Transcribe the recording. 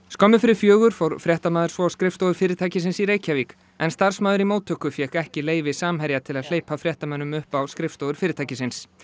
skömmu fyrir fjögur fór fréttamaður svo á skrifstofur fyrirtækisins í Reykjavík en starfsmaður í móttöku fékk ekki leyfi Samherja til að hleypa fréttamönnum upp á skrifstofur fyrirtækisins